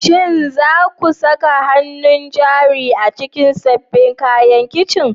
Shin za ku saka hannun jari a cikin sabbin kayan kicin?